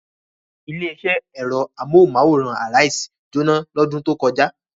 Ilé-iṣẹ́ ẹ̀rọ amóhùmáwòhán Arise jóná lọ́dún tó kọjá.